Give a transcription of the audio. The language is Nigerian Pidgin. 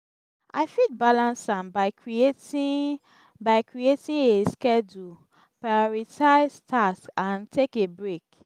i fit balance am by creating by creating a schedule prioritize tasks and take a break.